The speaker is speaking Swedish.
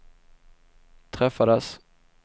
träffades